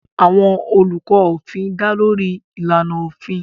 Àwọn olùkọ́ òfin dá lórí àwọn ìlànà òfin.